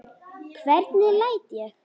Hvernig læt ég!